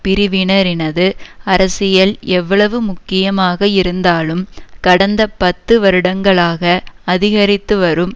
பிரிவினரினது அரசியல் எவ்வளவு முக்கியமாக இருந்தாலும் கடந்த பத்து வருடங்களாக அதிகரித்துவரும்